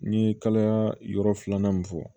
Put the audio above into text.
N ye kalayaa yɔrɔ filanan min fɔ